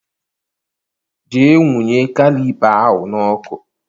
Jee nwụnye klipa ahụ n'ọkụ.